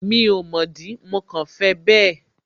Mi ò mọ̀ dí, mo kàn fẹ bẹ́ẹ̀